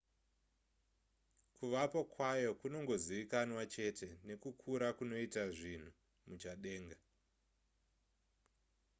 kuvapo kwayo kunongozivikanwa chete nekukura kunoita zvinhu muchadenga